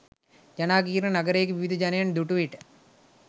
ජනාකීර්ණ නගරයක විවිධ ජනයන් දුටු විට